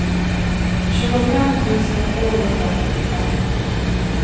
tjugofem tusen tvåhundratretton